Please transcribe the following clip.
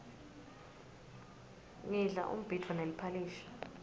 ngidla umbhidvo neliphalishi